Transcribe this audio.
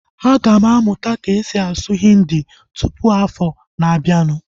Aga m amụta ka-esi asụ Hindi tụpụ afọ na abianu